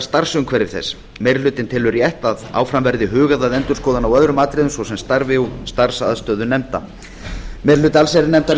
starfsumhverfi þess meiri hlutinn telur rétt að áfram verði hugað að endurskoðun á öðrum atriðum svo sem starfi og starfsaðstöðu nefnda meiri hluti allsherjarnefndar